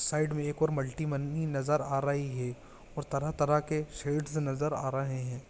Side में एक और मल्टी मंनी नजर आ रही है और तरह तरह के शेड्स नजर आ रहे है।